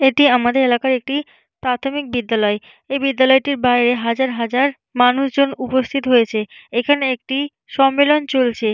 এটি আমাদের এলাকায় একটি প্রাথমিক বিদ্যালয়। এই বিদ্যালয়টির বাইরে হাজার হাজার মানুষজন উপস্থিত হয়েছে এখানে একটি সম্মেলন চলছে ।